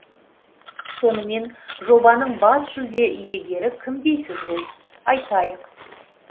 сонымен жобаның бас жүлде иегері кім дейсіз ғой айтайық